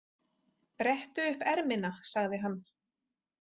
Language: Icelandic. Brettu upp ermina, sagði hann.